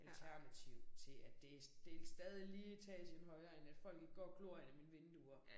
Alternativ til at det det stadig lige etagen højere end at folk ikke går og glor ind ad mine vinduer